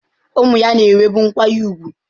Ụmụ ya na-enwebu nkwanye ùgwù.